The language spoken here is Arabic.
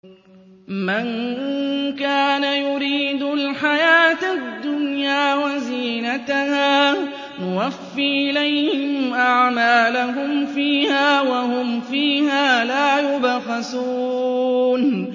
مَن كَانَ يُرِيدُ الْحَيَاةَ الدُّنْيَا وَزِينَتَهَا نُوَفِّ إِلَيْهِمْ أَعْمَالَهُمْ فِيهَا وَهُمْ فِيهَا لَا يُبْخَسُونَ